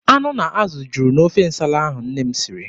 Anụ na azụ juru n'ofe nsala ahụ nne m siri.